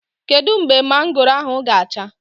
Kedu mgbe mangoro ahụ ga-acha?